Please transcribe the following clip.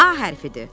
A hərfidir.